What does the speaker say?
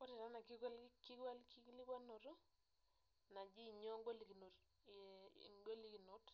Ore taa ena kikwalikinoto, naji inyoo ingolokinot